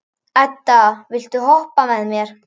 Edda, viltu hoppa með mér?